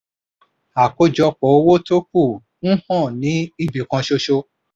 àkójọpọ̀ owó tó kù ń hàn ní ibi kan ṣoṣo.